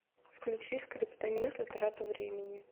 включи скриптонита трата времени